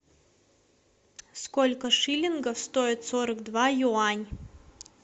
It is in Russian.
сколько шиллингов стоит сорок два юань